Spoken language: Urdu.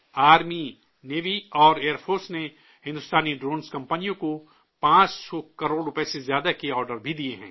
آرمی، نیوی اور ایئر فورس نے ہندوستانی ڈرون کمپنیوں کو 500 کروڑ روپے سے زیادہ کے آرڈر بھی دیے ہیں